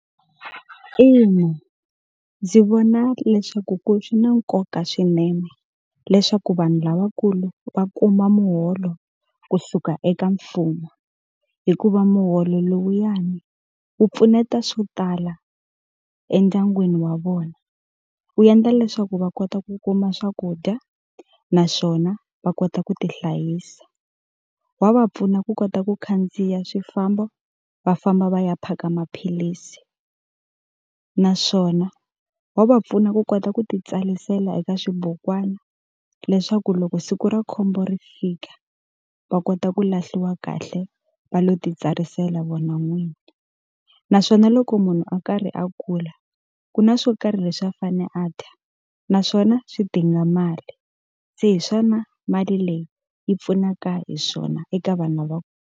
Ina, ndzi vona leswaku ku swi na nkoka swinene leswaku vanhu lavakulu va kuma muholo kusuka eka mfumo. Hikuva muholo lowuyani wu pfuneta swo tala endyangwini wa vona, wu endla leswaku va kota ku kuma swakudya, naswona va kota ku tihlayisa. Wa va pfuna ku kota ku khandziya swifamb, o va famba va ya phaka maphilisi. Naswona wa va pfuna ku kota ku ti tsarisela eka swibukwani leswaku loko siku ra khombo ri fika, va kota ku lahliwa kahle va lo titsarisela vona vinyi. Naswona loko munhu a karhi a kula, ku na swo karhi leswi a fanele a dya naswona swidinga mali. Se hi swona mali leyi yi pfunaka hi swona eka vanhu lava.